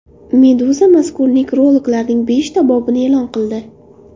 Meduza mazkur nekrologlarning beshta bobini e’lon qildi .